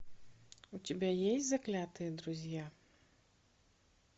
у тебя есть заклятые друзья